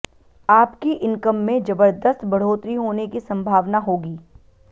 आपकी इनकम में जबरदस्त बढ़ोतरी होने की संभावना होगी